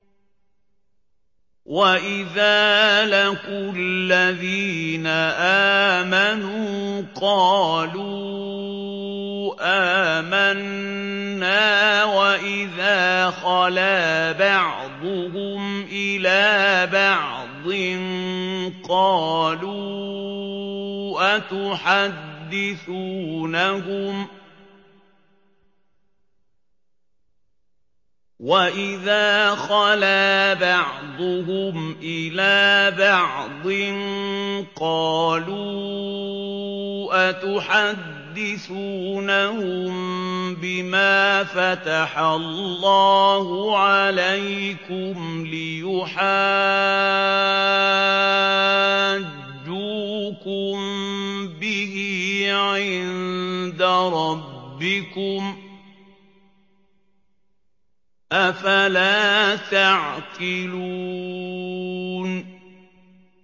وَإِذَا لَقُوا الَّذِينَ آمَنُوا قَالُوا آمَنَّا وَإِذَا خَلَا بَعْضُهُمْ إِلَىٰ بَعْضٍ قَالُوا أَتُحَدِّثُونَهُم بِمَا فَتَحَ اللَّهُ عَلَيْكُمْ لِيُحَاجُّوكُم بِهِ عِندَ رَبِّكُمْ ۚ أَفَلَا تَعْقِلُونَ